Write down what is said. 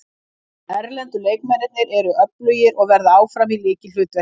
Erlendu leikmennirnir eru öflugir og verða áfram í lykilhlutverki.